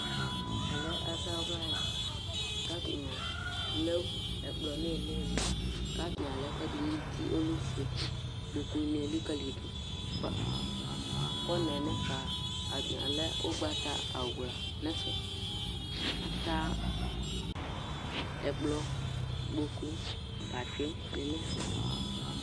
ɛmɛ lɛ azawla ya k'atani alɛ ɛkplɔ n'ilili k'atani alɛ ɛkuɛdi n'uti ɔlɛ ofue ikpoku ni elikali do bos kɔnɛ n'ɛfɛ atani alɛ ugbata awla n'ɛfɛ atɛ ɛkplɔ ikpoku abati ni n'ɛfɛ